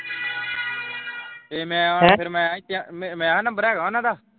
ਜੇ ਮੈਂ ਫਿਰ ਮੈਂ ਕਿਹਾ ਮੈਂ ਆਹ ਨੰਬਰ ਹੈਗਾ ਉਹਨਾਂ ਦਾ।